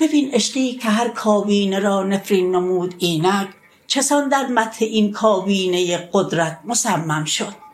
ببین عشقی که هر کابینه را نفرین نمود اینک چسان در مدح این کابینه قدرت مصمم شد